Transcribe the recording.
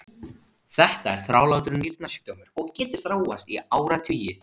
Þetta er þrálátur nýrnasjúkdómur og getur þróast í áratugi.